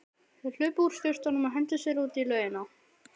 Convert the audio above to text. Þeir hlupu úr sturtunum og hentu sér út í laugina.